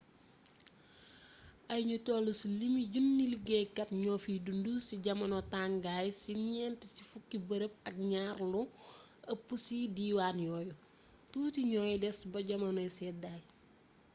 ay ñu toll ci limu junni liggéeykat ñoo fiy dund ci jamono tàngaay ci ñent ci fukki bërëb ak ñaar lu ëpp ci diwaan yooyu tuuti ñooy des ba jamonoy seddaay